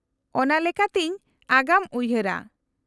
-ᱚᱱᱟ ᱞᱮᱠᱟᱛᱤᱧ ᱟᱜᱟᱢ ᱩᱭᱦᱟᱹᱨᱟ ᱾